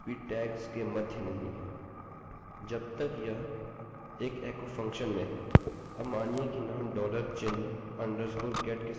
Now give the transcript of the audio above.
अब मानिए कि नाम डॉलरचिन्ह अधोरेखाunderscore गेटget के समान है